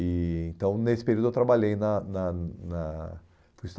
E então nesse período eu trabalhei, na na na